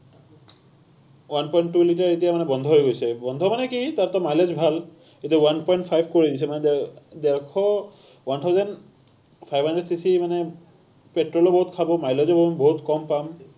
one point two liter এতিয়া মানে বন্ধ হৈ গৈছে। বন্ধ মানে কি, তাত mileage ভাল, এতিয়া one point five কৰি দিছে, মানে ডেৰশ, one thousand five hundred cc মানে petrol ও বহুত খাব, mileage ও বহুত কম পাম।